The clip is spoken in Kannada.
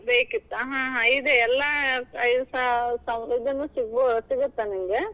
ಬೇಕಿತ್ತಾ? ಹಾ ಹಾ ಇದೆ ಎಲ್ಲಾ ಸಿಗತ್ತೆ ನಿಮಗ್.